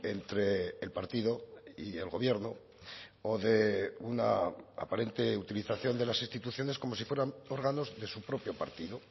entre el partido y el gobierno o de una aparente utilización de las instituciones como si fueran órganos de su propio partido